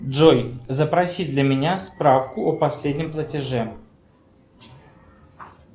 джой запроси для меня справку о последнем платеже